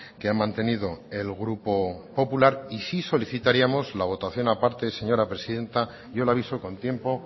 que ha mantenido el grupo popular y sí solicitaríamos la votación aparte señora presidenta yo le aviso con tiempo